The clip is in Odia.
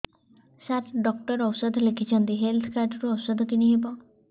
ସାର ଡକ୍ଟର ଔଷଧ ଲେଖିଛନ୍ତି ହେଲ୍ଥ କାର୍ଡ ରୁ ଔଷଧ କିଣି ହେବ